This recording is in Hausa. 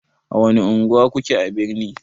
A wani unguwa kuke a birni?